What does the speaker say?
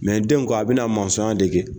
den ko a bɛ na na mɔsɔn dege.